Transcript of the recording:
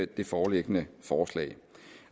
det foreliggende forslag